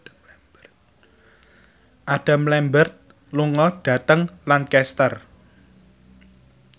Adam Lambert lunga dhateng Lancaster